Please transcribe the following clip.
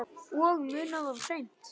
Og munað of seint.